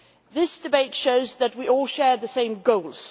This debate shows that we all share the same goals.